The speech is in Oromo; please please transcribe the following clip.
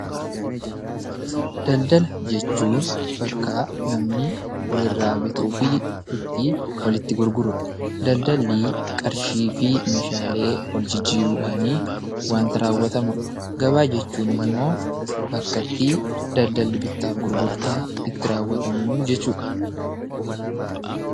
Daldala jechuun bakka namni wal irraa bituu fi itti walitti gurguru dha. Daldalli qarshii fi meeshaalee wal jijjiiruudhaan wanta raawwatamu dha. Gabaa jechuun immoo bakkattii daldalli bittaa fi gurgurtaa itti raawwatamu jechuu dha.